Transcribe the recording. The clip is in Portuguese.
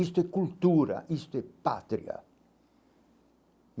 Isto é cultura, isto é patria.